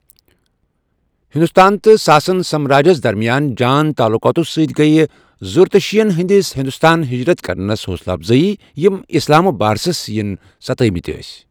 ہندوستان تہٕ ساسن سامراجس درمیان جان تعلُقاتو سۭتۍ گٔیہ زرتُشتیین ہندِس ہندوستان حجرت کرنس حوصلہٕ افضٲی، یم اِسلامِکہِ بارسس ین ستٲوِمٕتۍ ٲسۍ۔